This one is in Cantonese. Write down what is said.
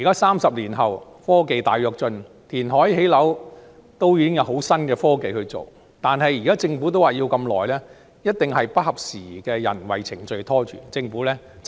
三十年後的今天科技大躍進，填海、建屋已經有很新穎的科技，政府仍說要這麼長時間，一定是不合時宜的人為程序拖累，政府真的要下決心改正。